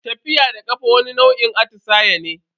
Tafiya da kafa wani nau'in atisaye ne.